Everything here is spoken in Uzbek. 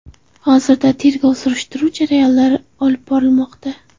Hozirda tergov surishtiruv jarayonlari olib borilmoqda.